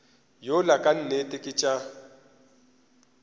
yola ka nnete ke tša